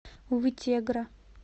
вытегра